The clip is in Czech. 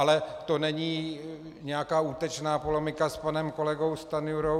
Ale to není nějaká útočná polemika s panem kolegou Stanjurou.